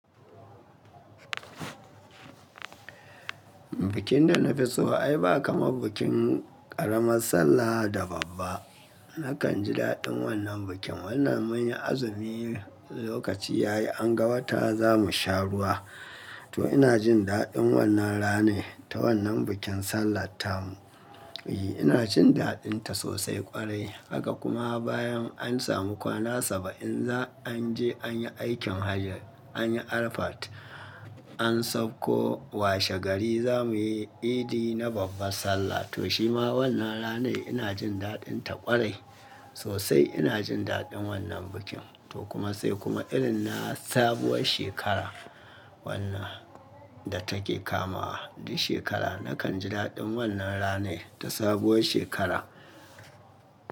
Bikin da na fi so ai ba kamar bikin ƙaramar Sallah da babba. Nakan ji daɗin wannan bikin. Wannan mun yi azumi lokaci ya yi, an ga wata za mu sha ruwa. To ina jin daɗin wannan rana ta wannan bikin Sallah tamu. I ina jin daɗinta sosai ƙwarai. Haka kuma bayan an samu kwana saba'in za anje anyi aikin hajji, anyi Arafat, an sauko washe gari za muyi Idi na babbar Sallah. To shima wannan rana ina jin daɗinta ƙwarai sosai. Ina jin daɗin wannan bikin. To kuma sai kuma irin na sabuwar shekara wannan da take kamawa duk shekara. Nakan ji daɗin wannan rana ta sabuwar shekara.